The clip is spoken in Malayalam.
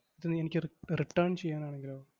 എനിക്ക് re~ return ചെയ്യാനാണെങ്കിലോ?